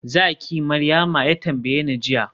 zaki Maryama?, ya tambayeni jiya